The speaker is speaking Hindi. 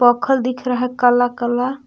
पत्थर दिख रहा है काला काला।